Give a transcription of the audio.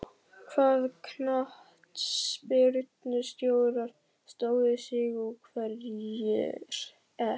Hvaða knattspyrnustjórar stóðu sig og hverjir ekki?